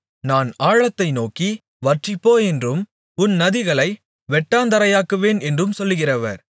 நான் ஆழத்தை நோக்கி வற்றிப்போ என்றும் உன் நதிகளை வெட்டாந்தரையாக்குவேன் என்றும் சொல்கிறவர்